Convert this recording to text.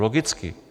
Logicky.